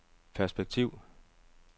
perspektiv